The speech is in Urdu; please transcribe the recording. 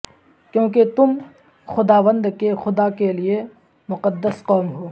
کیونکہ تم خداوند کے خدا کے لئے مقدس قوم ہو